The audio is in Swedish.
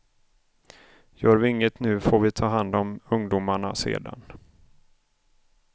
Gör vi inget nu får vi ta hand om ungdomarna sedan.